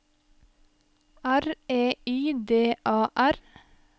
R E I D A R